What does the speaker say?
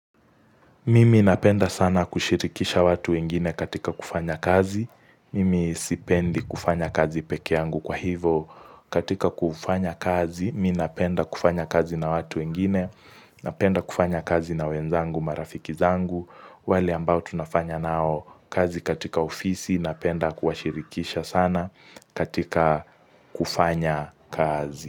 Mimi napenda sana kushirikisha watu wengine katika kufanya kazi. Mimi sipendi kufanya kazi peke yangu kwa hivo. Katika kufanya kazi, mimi napenda kufanya kazi na watu wengine. Napenda kufanya kazi na wenzangu marafiki zangu. Wale ambao tunafanya nao kazi katika ofisi. Napenda kuhashirikisha sana katika kufanya kazi.